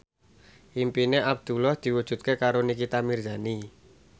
impine Abdullah diwujudke karo Nikita Mirzani